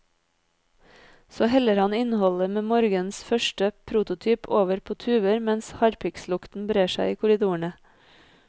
Så heller han innholdet med morgenens første prototyp over på tuber mens harpikslukten brer seg i korridorene.